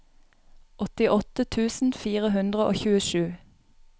åttiåtte tusen fire hundre og tjuesju